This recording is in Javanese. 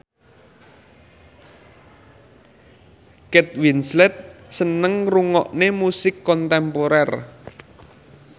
Kate Winslet seneng ngrungokne musik kontemporer